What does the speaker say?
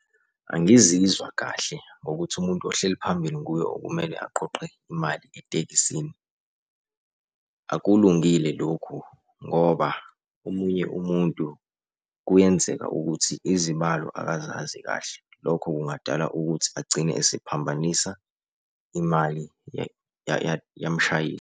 Angizizwa kahle ngokuthi umuntu ohleli phambili nguye okumele aqoqe imali etekisini. Akulungile lokhu ngoba omunye umuntu kuyenzeka ukuthi izibalo akazazi kahle. Lokho kungadala ukuthi agcine esephambanisa imali yamshayeli.